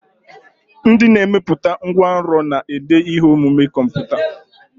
Ndị na-emepụta ngwanrọ na-ede ihe omume kọmputa.